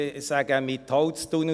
Ich sage – Mitholztunnel.